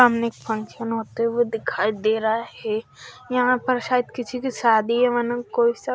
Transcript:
सामने एक फंक्शन होता हुए दिखाई दे रहा है यहा पर शायद किसी की शादी है वरना कोई सा --